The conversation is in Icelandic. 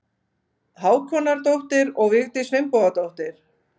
Hákonardóttir og Vigdís Finnbogadóttir.